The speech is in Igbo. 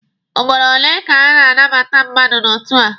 Ugboro ole ka a na-anabata mmadụ n'otu a?